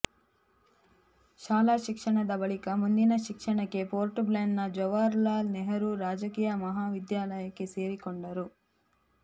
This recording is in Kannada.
ಶಾಲಾ ಶಿಕ್ಷಣದ ಬಳಿಕ ಮುಂದಿನ ಶಿಕ್ಷಣಕ್ಕೆ ಪೋರ್ಟ್ ಬ್ಲೇರ್ನ ಜವಾಹರಲಾಲ್ ನೆಹರೂ ರಾಜಕೀಯ ಮಹಾವಿದ್ಯಾಲಯಕ್ಕೆ ಸೇರಿಕೊಂಡರು